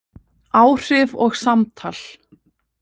Áhrif og samtal